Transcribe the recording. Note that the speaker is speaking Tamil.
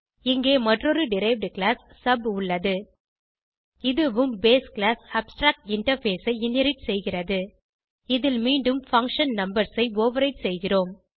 இங்கே மற்றொரு டெரைவ்ட் கிளாஸ் சப் உள்ளது இதுவும் பேஸ் கிளாஸ் அப்ஸ்ட்ராக்டின்டர்ஃபேஸ் ஐ இன்ஹெரிட் செய்கிறது இதில் மீண்டும் பங்ஷன் நம்பர்ஸ் ஐ ஓவர்ரைடு செய்கிறோம்